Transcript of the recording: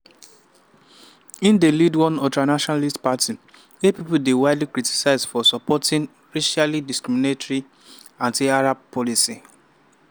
im dey lead one ultranationalist party wey pipo dey widely criticise for supporting racially discriminatory anti-arab policies.